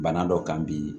Bana dɔ kan bi